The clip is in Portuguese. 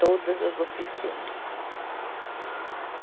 Todas as oficinas.